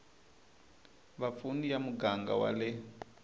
vapfuni ya muganga wa le